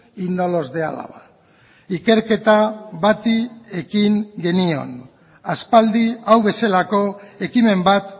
y no los de álava ikerketa bati ekin genion aspaldi hau bezalako ekimen bat